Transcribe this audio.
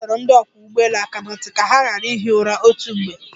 A dọrọ ndị ọkwọ́ ụgbọelu aka na ntị ka ha ghara ihi ura otu mgbe.